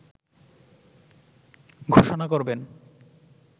ঘোষণা করবেন